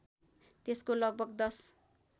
त्यसको लगभग १०